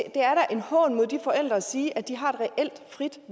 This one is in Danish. en hån mod de forældre at sige at de har et reelt frit